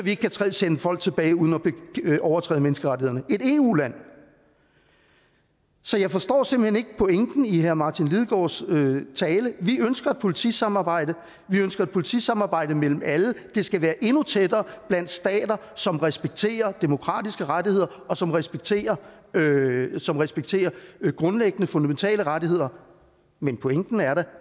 ikke kan sende folk tilbage uden at overtræde menneskerettighederne et eu land så jeg forstår simpelt hen ikke pointen i herre martin lidegaards tale vi ønsker et politisamarbejde vi ønsker et politisamarbejde mellem alle det skal være endnu tættere blandt stater som respekterer demokratiske rettigheder som respekterer som respekterer grundlæggende fundamentale rettigheder men pointen er da